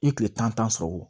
I ye kile tan sɔrɔ wo